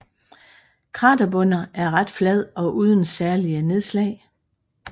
Kraterbunder er ret flad og uden særlige nedslag